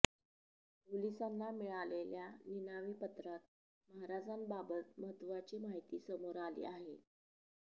पोलिसांना मिळालेल्या निनावी पत्रात महाराजांबाबत महत्त्वाची माहिती समोर आली आहे